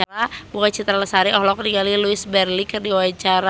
Bunga Citra Lestari olohok ningali Louise Brealey keur diwawancara